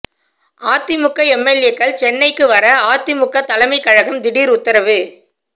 அதிமுக எம்எல்ஏக்கள் சென்னைக்கு வர அதிமுக தலைமை கழகம் திடீர் உத்தரவு